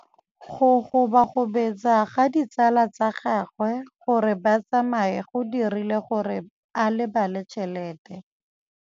Go gobagobetsa ga ditsala tsa gagwe, gore ba tsamaye go dirile gore a lebale tšhelete.